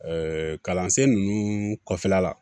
kalansen ninnu kɔfɛla la